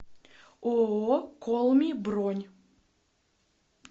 ооо колми бронь